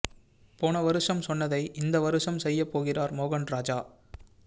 போன வருஷம் சொன்னதை இந்த வருஷம் செய்ய போகிறார் மோகன் ராஜா